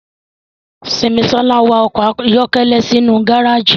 Simisola wa ọkọ ayọkẹlẹ sinu gareji.